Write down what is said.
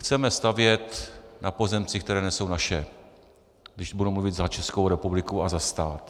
Chceme stavět na pozemcích, které nejsou naše, když budu mluvit za Českou republiku a za stát.